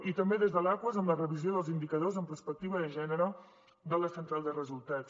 i també des de l’aquas amb la revisió dels indicadors amb perspectiva de gènere de la central de resultats